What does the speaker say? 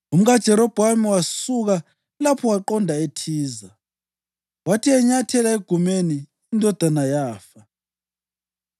UmkaJerobhowamu wasuka lapho waqonda eThiza. Wathi enyathela egumeni, indodana yafa.